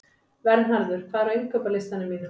Vernharður, hvað er á innkaupalistanum mínum?